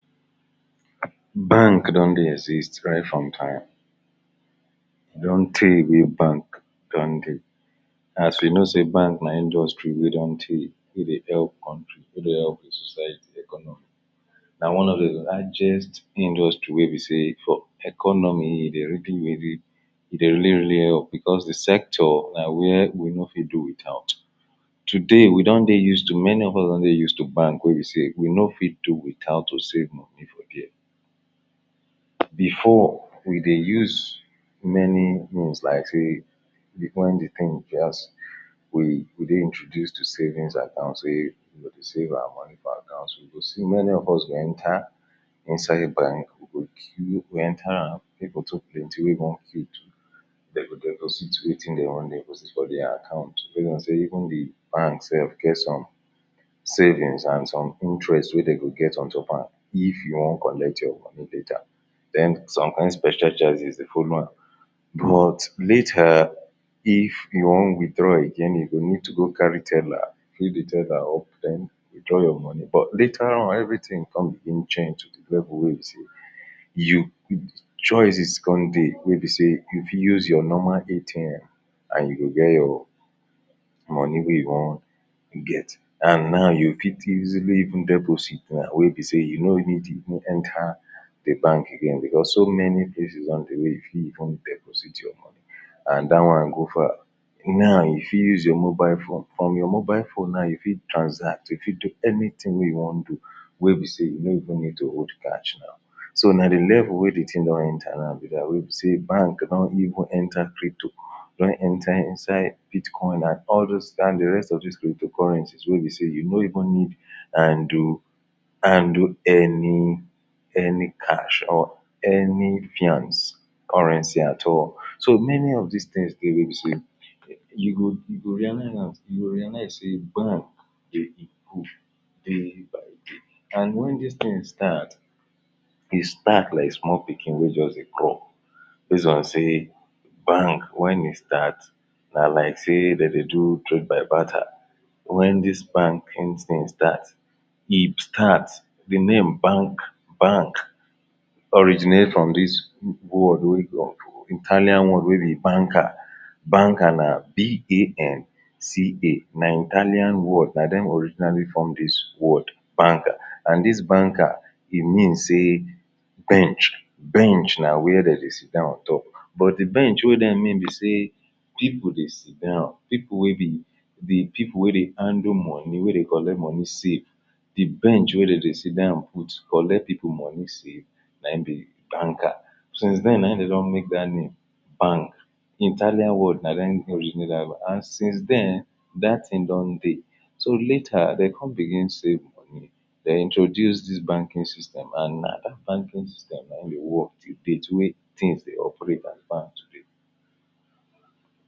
bank don dey exist right from time e don tey wey bank dondey as we know sey bank na industry wey don tey we dey bear all country wey dey help all the society economy na one of the largest industry wey be sey for economy e de really really e dey really-really help because the sector na where we no fit do without today we don dey use to, many of us don dey use to bank wey e be sey we no fit do without to save money for there before we dey use many things like sey when the thing just we dey introduced to savings account sey we go save our money for account, many of us go enter inside bank we go queue enter am people too plenty wey wan queue to de go de go wetin dey wan de go sit for their account wey no sey even de bank self get some savings and some interest wey de go get on top am if you wan collect your money later den some kind special charges dey folow am but later if you wan witdraw again you go need to go carry teler fill the teler or den witdraw your money but later on, every thing come begin change to the level wey be sey you choices come dey wey be sey if you use your normal ATM and you go get your money wey you wan get and now you fit easily even deposit now wey be sey you no need even enter the bank again because so many places don dey wey you fit even deposit your money and da one go far now you fit use your mobile phone from your mobile phone now you fit transact you fit do anything wey you wan do wey be sey you no even need to hold cash now so na de level wey the thing don enter now be dat wey be sey bank don even enter crypto don enter inside bitcoin and all those and the rest of the crypto currency wey be sey you no even need handle handle any any cash or any fiance currency at all so many of dis thing dey wey be sey you go you go realizam you go realize sey bank fit and when dis thing start e start like small pikin wey just dey crawl base on sey bank when e start na like sey de dey do trade by barter when dis banking thing start e start the name bank bank originate from this word wey come from italian one wey be banca banker na b a n c a na Italian word na dem originally form dis word banca and dis banca e mean sey bench bench na where de dey sit down on top but the bench we dey mean be sey people dey sit down people wey be the people wey dey handle money wey dey collect money sey the bench wey de sey sit down put collect the money save nayin be the banca since den nayin de don make dat name bank Italian word na dem originate da and since den, dat thing don de so later dey come begin sey dey introduce dis banking system and that banking system nayin dey work till date wey things dey operate as bank today